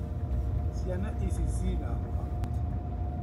Ciana ici cina homa